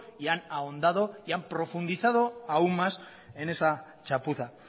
y han ahondado y han profundizado aún más en esa chapuza